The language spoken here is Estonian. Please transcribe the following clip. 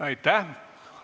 Aitäh!